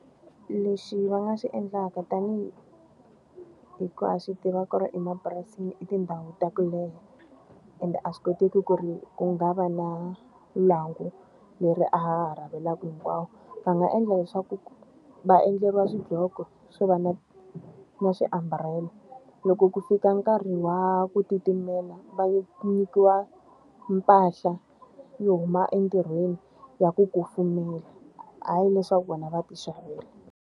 Lexi va nga xi endlaka tanihi hi ku ha swi tiva ku ri emapurasini i tindhawu ta ku leha, ende a swi koteki ku ri ku nga va na lwangu leri a ha ha . Va nga endla leswaku ku va endleriwa swidloko swo va na na swiambulela. Loko ku fika nkarhi wa ku titimela va nyikiwa mpahla yo huma entirhweni ya ku kufumela. Hayi leswaku vona va ti xavela.